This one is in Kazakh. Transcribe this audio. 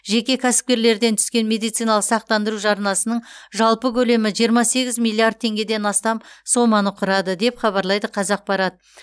жеке кәсіпкерлерден түскен медициналық сақтандыру жарнасының жалпы көлемі жиырма сегіз миллиард теңгеден астам соманы құрады деп хабарлайды қазақпарат